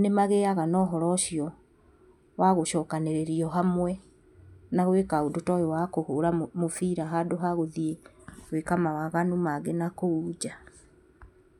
nĩ magĩaga na ũhoro ũcio wa gũcokanĩrĩrio hamwe na gwĩka ũndũ ta ũyũ wa kũhũra mũbira handũ ha gũthiĩ gwĩka mawaganu mangĩ nakũu nja.